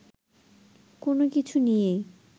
কোনো কিছু নিয়েই